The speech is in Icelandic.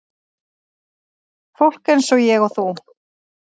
Fólk eins og ég og þú.